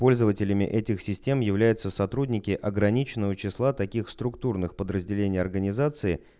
пользователями этих систем являются сотрудники ограниченного числа таких структурных подразделений организации